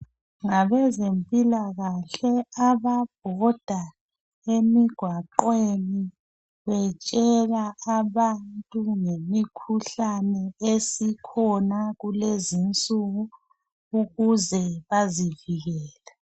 Ngabezempilakahle ababhoda emigqwaqweni betshela abantu ngemikhuhlane esikhona kulezinsuku ukuze bazivikele.